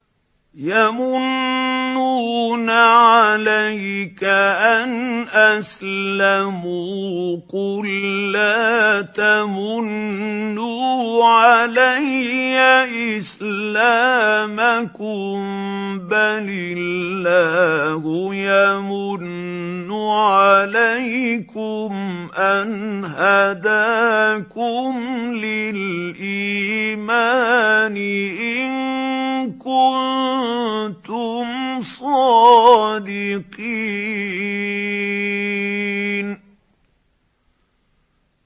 يَمُنُّونَ عَلَيْكَ أَنْ أَسْلَمُوا ۖ قُل لَّا تَمُنُّوا عَلَيَّ إِسْلَامَكُم ۖ بَلِ اللَّهُ يَمُنُّ عَلَيْكُمْ أَنْ هَدَاكُمْ لِلْإِيمَانِ إِن كُنتُمْ صَادِقِينَ